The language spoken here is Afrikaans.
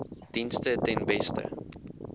dienste ten beste